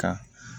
Ka